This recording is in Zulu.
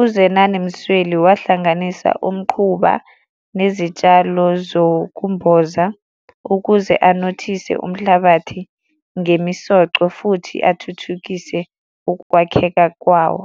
uZenani Msweli, wahlanganisa umquba nezitshalo zokumboza ukuze anothise umhlabathi ngemisoco futhi athuthukise ukwakheka kwawo.